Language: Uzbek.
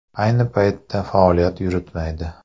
Ayni paytda faoliyat yuritmaydi.